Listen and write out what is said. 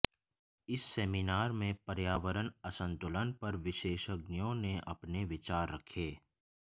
इस सेमीनार में पर्यावरण असंतुलन पर विशेषज्ञों ने अपने विचार रखे